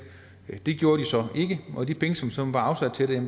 det gjorde de så ikke og de penge som som var afsat til det